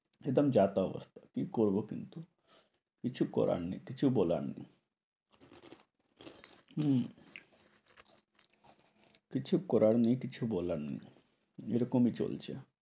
একদম যা তা অবস্থা, কি করব বলুন তো? কিছু করার নেই, কিছু বলার নেই। হম কিছু করারও নেই কিছু বলার নেই। এই রকমই চলছে।